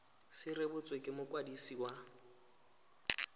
se rebotswe ke mokwadisi wa